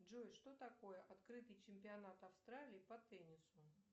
джой что такое открытый чемпионат австралии по теннису